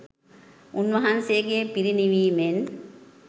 උන්වහන්සේගේ පිරිනිවීමෙන්